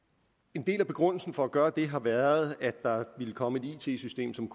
en del af begrundelsen for at gøre det har været at der ville komme et it system som